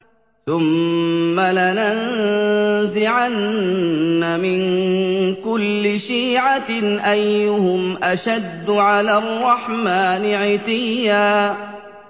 ثُمَّ لَنَنزِعَنَّ مِن كُلِّ شِيعَةٍ أَيُّهُمْ أَشَدُّ عَلَى الرَّحْمَٰنِ عِتِيًّا